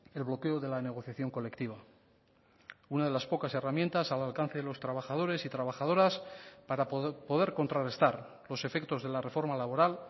el bloqueo de la negociación colectiva una de las pocas herramientas al alcance de los trabajadores y trabajadoras para poder contrarrestar los efectos de la reforma laboral